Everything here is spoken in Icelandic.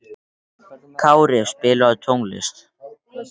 Kári, spilaðu tónlist.